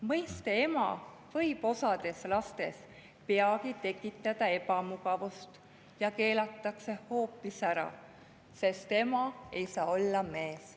Mõiste "ema" võib osas lastes peagi tekitada ebamugavust ja see keelatakse hoopis ära, sest ema ei saa olla mees.